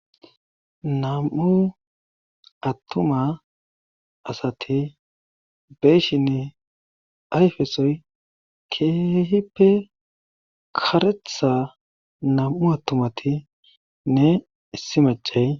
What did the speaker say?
Nam7u attuma asati de7ishini ayfesoy keehippe karetha nam7u attumatinne issi maccay.